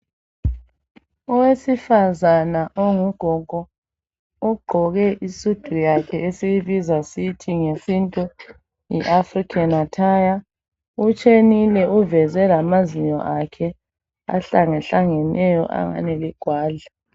Owesifazana ongugogo ugqoke isudu yakhe esiyibiza sithi nge sintu yi African athaya utshenile uveze lamazinyo akhe ahlangahlangeneyo angani ligwadla